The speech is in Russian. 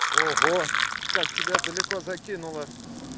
ого как тебя далеко закинуло